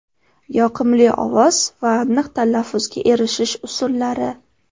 Yoqimli ovoz va aniq talaffuzga erishish usullari.